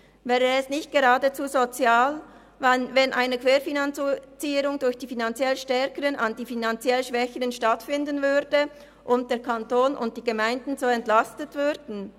Wäre es nicht geradezu sozial, wenn eine Querfinanzierung durch die finanziell Stärkeren an die finanziell Schwächeren stattfinden würde und der Kanton und die Gemeinden so entlastet würden?